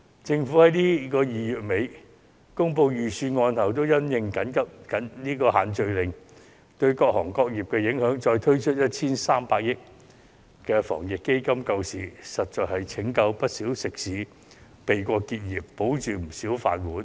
政府在2月底公布預算案後，因應"限聚令"對各行各業的影響加推 1,300 億元的防疫抗疫基金救市，實在拯救了不少食肆，保住不少"飯碗"。